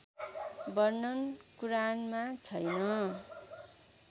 वर्णन कुरानमा छैन